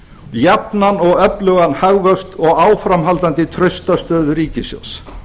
jafnan og öflugan hagvöxt og áframhaldandi trausta stöðu ríkissjóðs